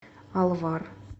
алвар